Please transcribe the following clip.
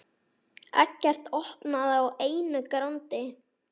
Eggert opnaði á einu grandi.